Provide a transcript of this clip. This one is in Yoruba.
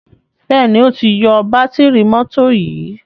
Béèni o tí yó Bátìrì mọ́tò yì.